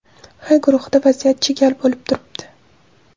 H guruhida vaziyat chigal bo‘lib turibdi.